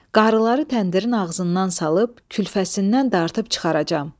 Qarıları təndirin ağzından salıb külfəsindən dartıb çıxaracam.